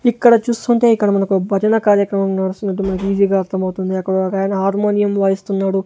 ఇక్కడ చూస్తుంటే ఇక్కడ మనకో భజన కార్యక్రమం నడుస్తున్నట్టు మనకీజీగా అర్థమవుతుంది అక్కడ ఒగాయన ఆర్మోనియం వాయిస్తున్నాడు.